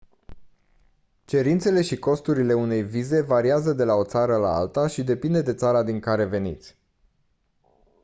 cerințele și costurile unei vize variază de la o țară la alta și depinde de țara din care veniți